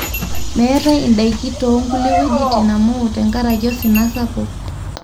meetae indaiki too kulie wuejitin amu tenkaraki osina sapuk